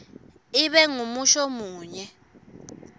ibe ngumusho munye